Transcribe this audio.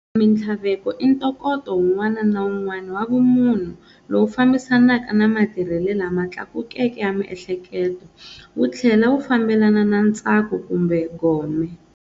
Minthlaveko i ntokoto wun'wana na wun'wana wa vumunhu lowu fambisanaka na matirhele lama tlakukeke ya miehleketo wuthlela wu fambelana na ntsako kumbe gome.